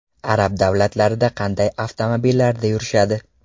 Arab davlatlarida qanday avtomobillarda yurishadi ?